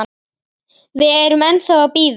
Við erum ennþá að bíða.